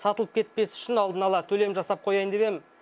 сатылып кетпес үшін алдын ала төлем жасап қояйын дегенмін